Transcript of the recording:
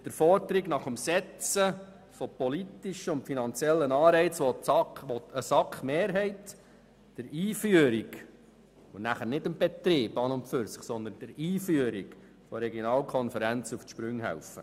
Mit der Forderung nach dem Setzen von politischen und finanziellen Anreizen will eine Mehrheit der SAK der Einführung, nicht dem Betrieb, sondern der Einführung der Regionalkonferenz auf die Sprünge helfen.